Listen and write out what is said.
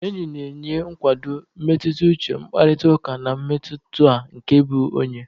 Enyi na-enye nkwado mmetụta uche, mkpakọrịta, na mmetụta nke ịbụ onye.